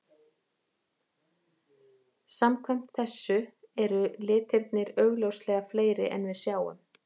Samkvæmt þessu eru litirnir augljóslega fleiri en við sjáum.